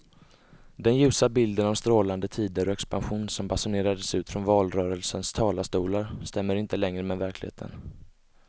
Den ljusa bilden av strålande tider och expansion som basunerades ut från valrörelsens talarstolar stämmer inte längre med verkligheten.